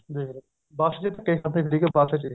ਦੇਖਲੋ ਬੱਸ ਚ ਧੱਕੇ ਖਾਂਦੇ ਸੀਗੇ ਬੱਸ ਚ